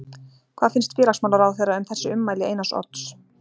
Hvað finnst félagsmálaráðherra um þessi ummæli Einars Odds?